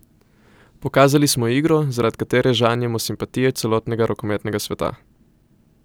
Pokazali smo igro, zaradi katere žanjemo simpatije celotnega rokometnega sveta.